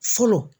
Fɔlɔ